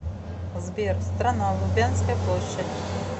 сбер страна лубянская площадь